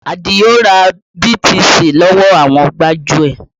Adio ra BTC lọ́wọ́ àwọn gbájúẹ̀